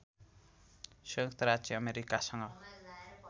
संयुक्त राज्य अमेरिकासँग